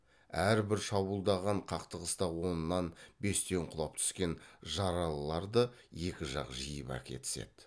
әрбір шабуылдаған қақтығыста оннан бестен құлап түскен жаралыларды екі жақ жиып әкетіседі